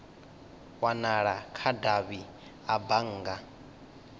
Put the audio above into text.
wanala kha davhi a bannga